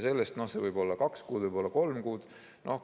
No see võib olla kaks kuud, võib olla kolm kuud.